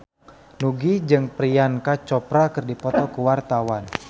Nugie jeung Priyanka Chopra keur dipoto ku wartawan